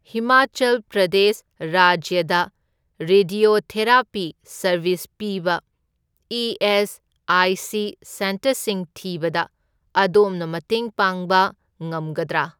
ꯍꯤꯃꯥꯆꯜ ꯄ꯭ꯔꯗꯦꯁ ꯔꯥꯖ꯭ꯌꯗ radiotherapy service ꯄꯤꯕ ESIC. ꯁꯦꯟꯇꯔꯁꯤꯡ ꯊꯤꯕꯗ ꯑꯗꯣꯝꯅ ꯃꯇꯦꯡ ꯄꯥꯡꯕ ꯉꯝꯒꯗ꯭ꯔꯥ?